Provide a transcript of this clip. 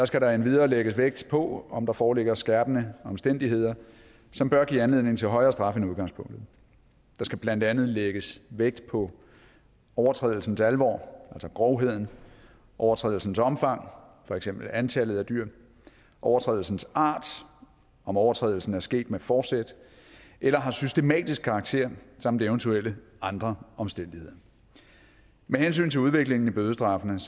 skal der endvidere lægges vægt på om der foreligger skærpende omstændigheder som bør give anledning til højere straf end udgangspunktet der skal blandt andet lægges vægt på overtrædelsens alvor altså grovheden overtrædelsens omfang for eksempel antallet af dyr overtrædelsens art om overtrædelsen er sket med forsæt eller har systematisk karakter samt eventuelle andre omstændigheder med hensyn til udviklingen i bødestraffene